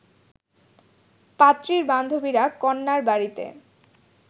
পাত্রীর বান্ধবীরা কন্যার বাড়িতে